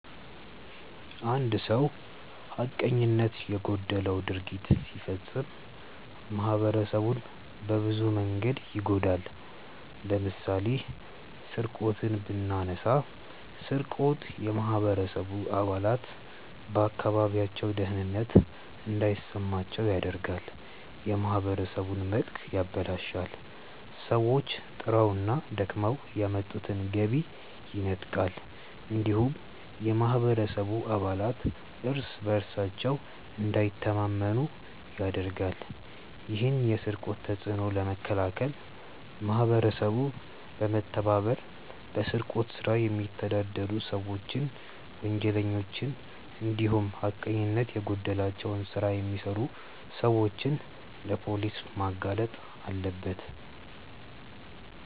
አንድ ሰው ሀቀኝነት የጎደለው ድርጊት ሲፈጽም ማህበረሰቡን በብዙ መንገድ ይጎዳል። ለምሳሌ ስርቆትን ብናነሳ ስርቆት የማህበረሰቡ አባላት በአካባቢያቸው ደህንነት እንዳይሰማቸው ያደርጋል፣ የማህበረሰቡን መልክ ያበላሻል፣ ሰዎች ጥረውና ደክመው ያመጡትን ገቢ ይነጥቃል እንዲሁም የማህበረሰቡ አባላት እርስ በእርሳቸው እንዳይተማመኑ ያደርጋል። ይህን የስርቆት ተጽዕኖ ለመከላከል ማህበረሰቡ በመተባበር በስርቆት ስራ የሚተዳደሩ ሰዎችን፣ ወንጀለኞችን እንዲሁም ሀቀኝነት የጎደለው ስራ የሚሰሩ ሰዎችን ለፖሊስ ማጋለጥ አለበት።